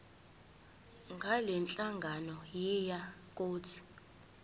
ngalenhlangano yiya kut